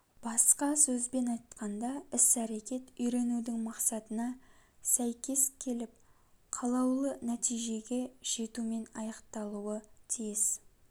басқа сөзбен айтқанда іс-әрекет үйренудің мақсатына сәйкес келіп қалаулы нәтижеге жетумен аяқталуы тиіс